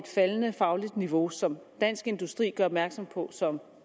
faldende faglige niveau som dansk industri gør opmærksom på som